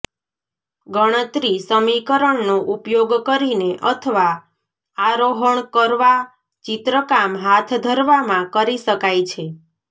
ગણતરી સમીકરણનો ઉપયોગ કરીને અથવા આરોહણ કરવા ચિત્રકામ હાથ ધરવામાં કરી શકાય છે